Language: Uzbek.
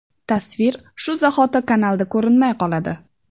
Tasvir shu zahoti kanalda ko‘rinmay qoladi.